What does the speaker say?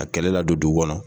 A kɛlɛ ladon dugu kɔnɔ.